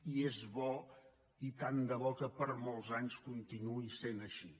i és bo i tant de bo que per molts anys continuï sent així